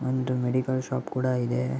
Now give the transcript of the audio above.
ಒಂದು medical shop ಕೂಡ ಇದೆ.